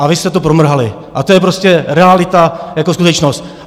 A vy jste to promrhali, a to je prostě realita jako skutečnost.